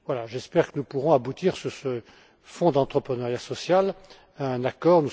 J'espère que nous pourrons aboutir, sur ce fonds d'entrepreneuriat social, à un accord